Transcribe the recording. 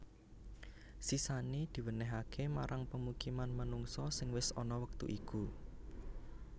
Sisané diwènèhaké marang pamukiman manungsa sing wis ana wektu iku